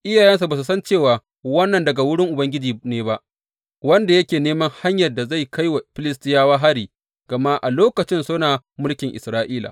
Iyayensa ba su san cewa wannan daga wurin Ubangiji ne ba, wanda yake neman hanyar da za a kai wa Filistiyawa hari; gama a lokacin suna mulkin Isra’ila.